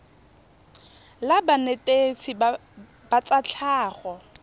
la banetetshi ba tsa tlhago